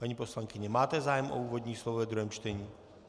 Paní poslankyně, máte zájem o úvodní slovo ve druhém čtení?